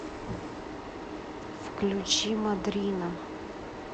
включи мадрина